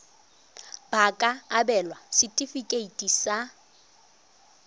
ba ka abelwa setefikeiti sa